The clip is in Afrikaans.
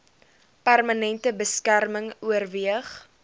permanente beskerming oorweeg